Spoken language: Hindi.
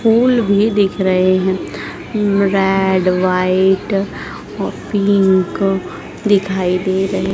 फूल भी दिख रहे हैं रेड व्हाइट व पिंक दिखाई दे रहे--